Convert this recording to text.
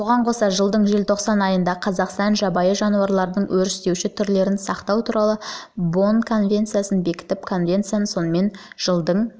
бұған қоса жылдың желтоқсан айында қазақстан жабайы жануарлардың өрістеуші түрлерін сақтау туралы бонн конвенциясын бекітіп конвенциясы онымен жылдың